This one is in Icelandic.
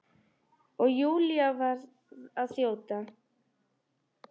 Og Júlía varð að þjóta.